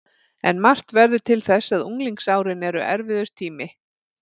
En margt verður til þess að unglingsárin eru erfiður tími.